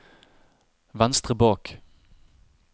venstre bak